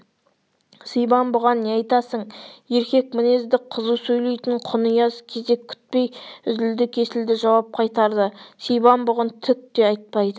сибан бұған не айтасың еркек мінезді қызу сөйлейтін құнияз кезек күтпей үзілді-кесілді жауап қайтарды сибан бұған түк те айтпайды